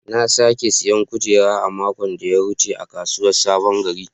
Na sake siyan kujera a makon da ya wuce a kasuwar sabon gari.